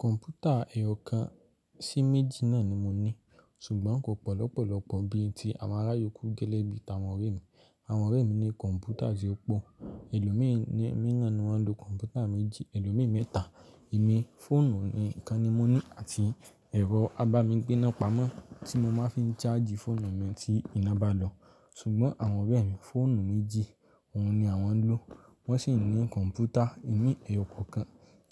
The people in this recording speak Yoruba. Kọ̀m̀pútà ẹ̀yọ̀ kan sí méjì náà ni mo ní, ṣùgbọ́n kò pọ̀lọ́pọ̀lọ́pọ̀ bí i ti àwọn ará yòókù gẹ́lẹ́bí àwọn ọ̀rẹ́ mi. Àwọn ọ̀rẹ́ mi ní kọ̀m̀pútà tí ó pò, ẹlòmíì ní miiran ni wọ́n ń lo kọ̀m̀pútà méjì, ẹlòmíì mẹ́ta. Emi fóònù ni kan ni mo ní àti ẹ̀rọ abamígbéná pamọ́ tí mo máa ń fi ṣáàjì fóònù mi tí iná bá lọ. Ṣùgbọ́n àwọn ọ̀rẹ́ mi, fóònù méjì, òun ni àwọn ń lò. Wọ́n sì ń ní kọ̀m̀pútà ìmíì ẹ̀yọ̀ kọ̀ọ̀kan,